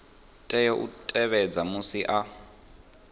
tea u tevhedza musi a